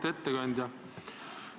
Auväärt ettekandja!